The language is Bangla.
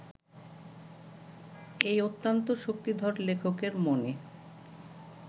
এই অত্যন্ত শক্তিধর লেখকের মনে